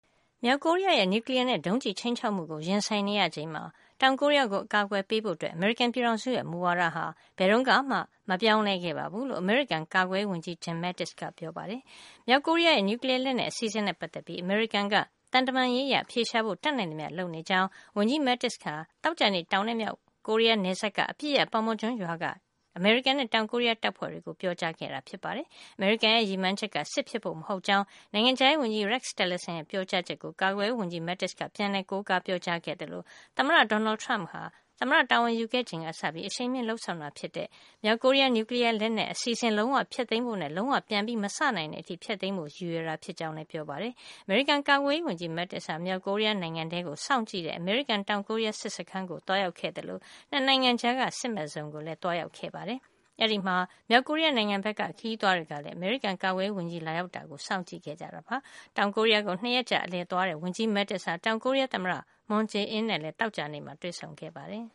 မြောက်ကိုရီးယားရဲ့ နျူကလီယားနဲ့ ဒုံးကျည်ခြိမ်းခြောက်မှုကို ရင်ဆိုင်နေရချိန်မှာ တောင်ကိုရီးယား ကို အကာကွယ်ပေးဖို့ အမေရိကန် ပြည်ထောင်စုရဲ့ မူဝါဒဟာ ဘယ်တုန်းကမှ မပြောင်းလဲခဲ့ပါဘူးလို့ အမေရိကန် ကာကွယ်ရေး ဝန်ကြီး Jim Mattis ကပြောပါတယ်။ မြောက်ကိုရီးယားရဲ့ နျူကလီယား လက်နက် အစီအစဉ်နဲ့ ပတ်သက်ပြီး အမေရိကန်က သံတမန်ရေးအရ အဖြေရှာဖို့ တတ်နိုင်သမျှလုပ်ဆောင်နေကြောင်း ဝန်ကြီး Mattis ဟာ သောကြာနေ့က တောင်နဲ့ မြောက်ကိုရီးယားနယ်စပ်က အပစ်ရပ် Panmunjom ရွာက အမေရိကန်နဲ့ တောင်ကိုရီးယား တပ်ဖွဲ့တွေကို ပြောကြားခဲ့တာ ဖြစ်ပါတယ်။ အမေရိကန်ရဲ့ ရည်မှန်းချက်က စစ်ဖြစ်ဖို့မဟုတ်ကြောင်း နိုင်ငံခြားရေးဝန်ကြီး Rex Tillerson ရဲ့ ပြောကြားချက်ကို ကာကွယ်ရေးဝန်ကြီး Mattis က ပြန်လည်ကိုးကား ပြောကြားခဲ့သလို သမ္မတ Donald Trump က သမ္မတ တာဝန်ယူခဲ့ချိန်ကစပြီး အရှိန်မြှင့် လုပ်ဆောင်ခဲ့တာဖြစ်တဲ့ မြောက်ကိုရီးယား နျူကလီယား လက်နက်အစီစဉ် လုံးဝဖျက်သိမ်းဖို့နဲ့ လုံးဝ ပြန်ပြီးမစ နိုင်တဲ့ အထိ ဖျက်သိမ်းဖို့ ရည်ရွယ်တာ ဖြစ်ကြောင်း လည်း ပြောပါတယ်။ အမေရိကန်ကာကွယ်ရေးဝန်ကြီး Mattis ဟာ မြောက်ကိုရီးယားနိုင်ငံထဲကို စောင့်ကြည့်တဲ့ အမေရိကန်-တောင်ကိုရီးယား စစ်စခန်းကို သွားရောက်ခဲ့သလို၊ ၂ နိုင်ငံကြားက စစ်မဲ့ဇုန်ကိုလည်းသွားရောက်ခဲ့ပါတယ်။ အဲဒီမှာ မြောက်ကိုရီးယားနိုင်ငံဘက်က ခရီးသွားတွေကလည်း အမေရိကန်ကာကွယ်ရေးဝန်ကြီး လာရောက်တာကို စောင့်ကြည့်ခဲ့ကြပါတယ်။ တောင်ကိုရီးယားကို ၂ ရက်ကြာ အလည်သွားရောက်တဲ့ ဝန်ကြီး Mattis ဟာ တောင်ကိုရီးယား သမ္မတ Moon Jae-in နဲ့ သောကြာနေ့မှာ တွေ့ဆုံခဲ့ပါတယ်